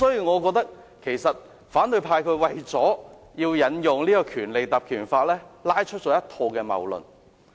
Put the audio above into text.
我認為，反對派為了引用《條例》，提出了一套謬論。